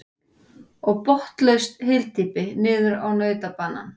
Og botnlaust hyldýpi niður á nautabanann.